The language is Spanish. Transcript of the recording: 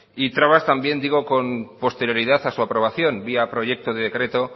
y trabas también digo con posterioridad a su aprobación vía proyecto de decreto